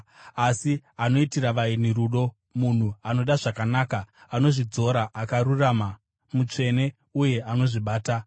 Asi anoitira vaeni rudo, munhu anoda zvakanaka, anozvidzora, akarurama, mutsvene uye anozvibata.